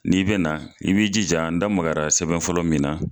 N'i bena na i b'i ji ja n da magara sɛbɛn fɔlɔ min na